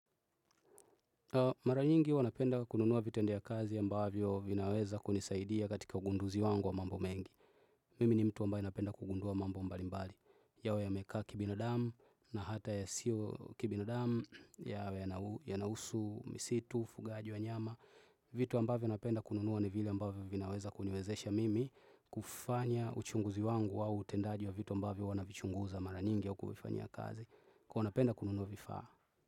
Mara nyingi huwa napenda kununua vitendo vya kazi ambavyo vinaweza kunisaidia katika ugunduzi wangu wa mambo mengi. Mimi ni mtu ambaye napenda kugundua mambo mbalimbali. Yawe yamekaa kibinadamu na hata yasiyo kibinadamu yawe yanahusu misitu, ufugaji wanyama. Vitu ambavyo napenda kununua ni vile ambavyo vinaweza kuniwezesha mimi kufanya uchunguzi wangu au utendaji wa vitu ambavyo huwa navichunguza mara nyingi au kuvifanya kazi. Kuwa napenda kununua vifaa.